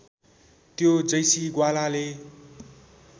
त्यो जैसी ग्वालाले